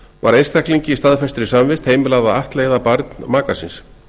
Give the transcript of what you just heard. var einstaklingi í staðfestri samvist heimilað að ættleiða barn maka síns